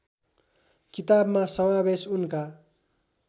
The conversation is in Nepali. किताबमा समावेश उनका